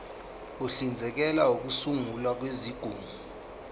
uhlinzekela ukusungulwa kwezigungu